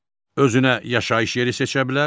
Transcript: Özünə yaşayış yeri seçə bilər.